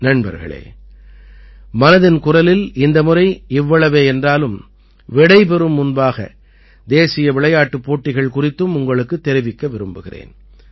நண்பர்களே மனதின் குரலில் இந்த முறை இவ்வளவே என்றாலும் விடைபெறும் முன்பாக தேசிய விளையாட்டுப் போட்டிகள் குறித்தும் உங்களுக்குத் தெரிவிக்க விரும்புகிறேன்